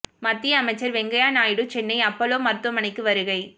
மத்திய அமைச்சர் வெங்கையா நாயுடு சென்னை அப்பல்லோ மருத்துமனைக்கு வருகை